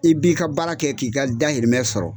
I b'i ka baara kɛ k'i ka dahirimɛ sɔrɔ.